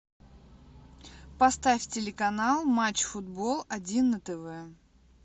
поставь телеканал матч футбол один на тв